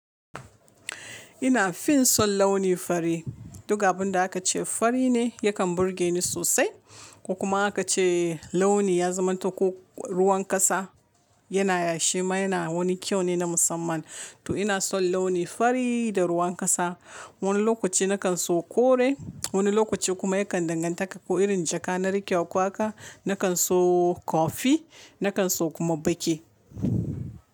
Ina fin son launi fari. Duk abunda aka ce fari ne yakan burge ni sosai. Ko kuma aka ce launi ya zamanta ko ruwan kasa yana yashi ma yana wani kyau ne na musamman. To ina son launi fari da ruwan kasa. Wani lokaci na kan so kore, wani lokaci kuma yakan danganta ka ko irin jaka na rike waƙa. Na kan so kofi, na kan so kuma baƙi.